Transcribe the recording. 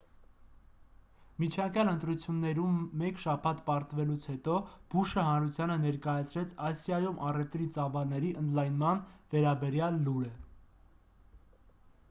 միջանկյալ ընտրություններում մեկ շաբաթ պարտվելուց հետո բուշը հանրութանը ներկայացրեց ասիայում առևտրի ծավալների ընդլայնման վերաբերյալ լուրը